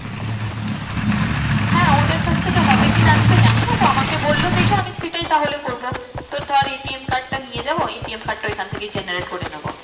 হ্যাঁ ওদের কাছ থেকে হবে কি না আমি তো জানি না তো আমাকে বললো যেটা আমি সেইটাই তাহলে করবো। তোর ধর ATM card টা নিয়ে যাবো ATM card টা ওখান থেকেই generate করে নেবো।